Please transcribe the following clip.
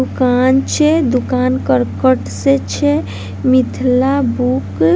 दुकान छै दुकान कर्कट से छै मिथीला बुक --